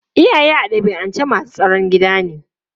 Iyaye a dabi'ance masu tsaron gida ne.